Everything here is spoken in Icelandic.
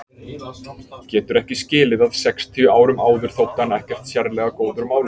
Getur ekki skilið að sextíu árum áður þótti hann ekkert sérlega góður málari.